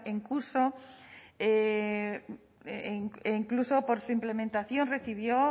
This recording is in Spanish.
e incluso por su implementación recibió